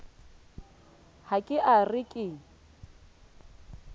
ha ke a re ke